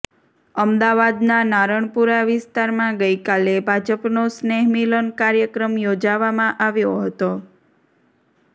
અમદાવાદના નારણપુરા વિસ્તારમાં ગઈકાલે ભાજપનો સ્નેહમિલન કાર્યક્રમ યોજાવામાં આવ્યો હતો